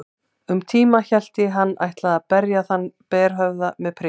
Um tíma hélt ég hann ætlaði að berja þann berhöfðaða með prikinu.